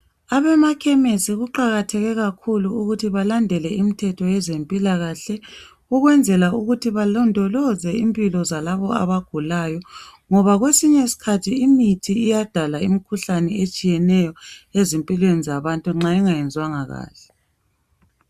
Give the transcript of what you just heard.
Abemakhemisi kuqakathekile kakhulu ukuthi belande imithetho yezempilakahle ukwenzela ukuthi balondolozo impilo zalabo abagulayo ngoba kwesinye iskhathi imithi iyadala imikhuhlane etshiyeneyo ezimpilweni zabantu nxa ingasebanga kahle